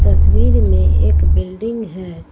तस्वीर में एक बिल्डिंग है।